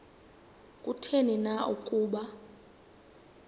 kutheni na ukuba